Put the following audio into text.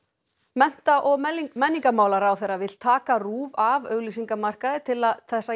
mennta og menningarmálaráðherra vill taka RÚV af auglýsingamarkaði til þess